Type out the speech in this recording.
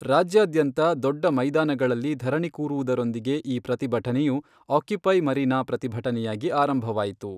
ರಾಜ್ಯಾದ್ಯಂತ ದೊಡ್ಡ ಮೈದಾನಗಳಲ್ಲಿ ಧರಣಿ ಕೂರುವುದರೊಂದಿಗೆ ಈ ಪ್ರತಿಭಟನೆಯು ಆಕ್ಯುಪೈ ಮರೀನಾ ಪ್ರತಿಭಟನೆಯಾಗಿ ಆರಂಭವಾಯಿತು.